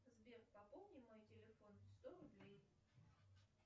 сбер пополни мой телефон сто рублей